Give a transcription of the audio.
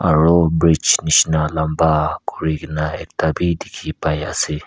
aru bridge nisna lamba kori kina ekta bhi dekhi pai ase.